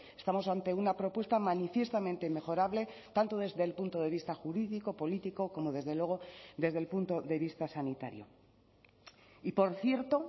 estamos ante una propuesta manifiestamente mejorable tanto desde el punto de vista jurídico político como desde luego desde el punto de vista sanitario y por cierto